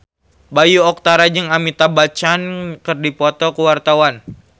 Bayu Octara jeung Amitabh Bachchan keur dipoto ku wartawan